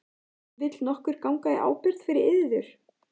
Vill nokkur ganga í ábyrgð fyrir yður?